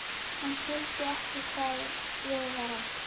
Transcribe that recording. Hann skildi ekki hvað við var átt.